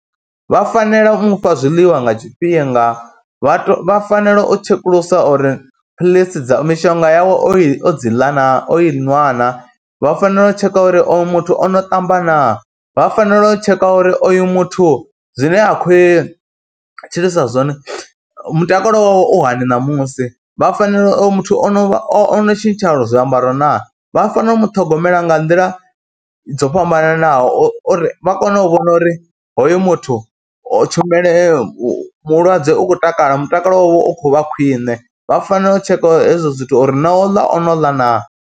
Vha fanela u mu fha zwiḽiwa nga tshifhinga, vha tou vha fanela u tshekulusa uri philisi dza, mishonga yawe o dzi ḽa na, o i nwa na, vha fanela u tsheka uri oyo muthu o no ṱamba naa, vha fanela u tsheka uri oyu muthu zwine a khou tshilisa zwone mutakalo wawe u hani ṋamusi. Vha fanela, uyu muthu o no o no tshintsha zwiambaro naa, vha fanela u mu ṱhogomela nga nḓila dzo fhambananaho uri vha kone u vhona uri hoyo muthu tshumeleo mulwadze u khou takala, mutakalo wawe u khou vha khwiṋe, vha fanela u tshekha hezwo zwithu uri no u ḽa o no ḽa naa.